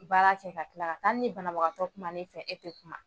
baara kɛ ka tila ka taa hali ni banabagatɔ kumana e fɛ e tɛ kuma